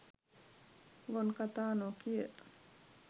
ගොන් කතා නොකිය